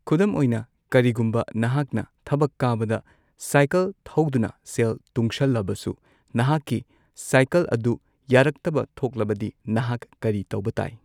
ꯈꯨꯗꯝ ꯑꯣꯏꯅ, ꯀꯔꯤꯒꯨꯝꯕ ꯅꯍꯥꯛꯅ ꯊꯕꯛ ꯀꯥꯕꯗ ꯁꯥꯏꯀꯜ ꯊꯧꯗꯨꯅ ꯁꯦꯜ ꯇꯨꯡꯁꯜꯂꯕꯁꯨ ꯅꯍꯥꯛꯀꯤ ꯁꯥꯏꯀꯜ ꯑꯗꯨ ꯌꯥꯔꯛꯇꯕ ꯊꯣꯛꯂꯕꯗꯤ ꯅꯍꯥꯛ ꯀꯔꯤ ꯇꯧꯕ ꯇꯥꯏ꯫